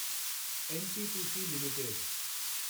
NTPC limited